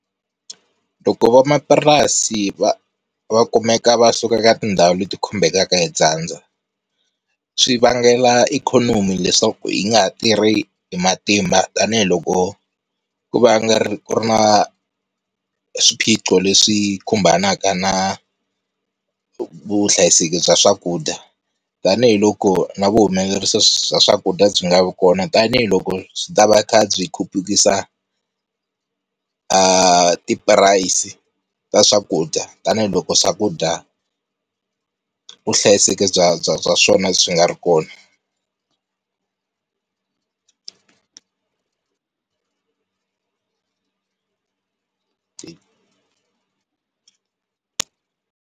Loko van'wamapurasi va kumeka va suka ka tindhawu leti khumbekaka hi dyandza, swi vangela ikhonomi leswaku yi nga ha tirhi hi matimba tanihiloko ku va ku ri na swiphiqo leswi khumbanaka na vuhlayiseki bya swakudya tanihiloko na vuhumelerisa bya swakudya byi nga vi kona tanihiloko byi ta va kha byi khupukisa ti price ta swakudya tanihiloko swakudya vu vuhlayiseki bya bya swona byi nga ri kona .